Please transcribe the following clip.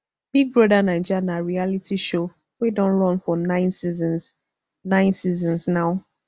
big brother naija na reality show wey don run for nine seasons nine seasons now